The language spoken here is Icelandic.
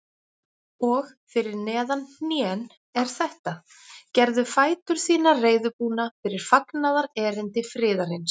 Og fyrir neðan hnén er þetta: Gerðu fætur þína reiðubúna fyrir fagnaðarerindi friðarins.